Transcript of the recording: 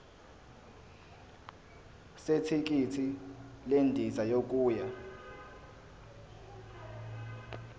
zethikithi lendiza yokuya